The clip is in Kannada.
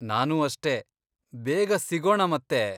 ನಾನೂ ಅಷ್ಟೇ, ಬೇಗ ಸಿಗೋಣ ಮತ್ತೆ.